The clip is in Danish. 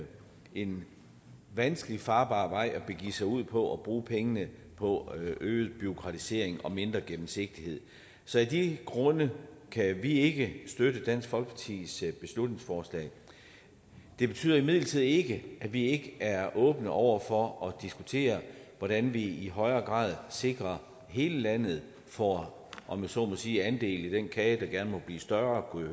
en vanskeligt farbar vej at begive sig ud på at bruge pengene på øget bureaukratisering og mindre gennemsigtighed så af de grunde kan vi ikke støtte dansk folkepartis beslutningsforslag det betyder imidlertid ikke at vi ikke er åbne over for at diskutere hvordan vi i højere grad sikrer at hele landet får om jeg så må sige andel i den kage der gerne må blive større kunne